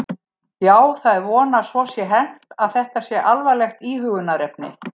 Já, það er von að svo sé hermt að þetta sé alvarlegt íhugunarefni.